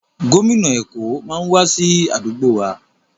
Gómìnà Èkó máa wá sí àdúgbò wa.